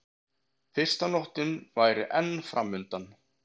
Fyrsta nóttin væri enn framundan.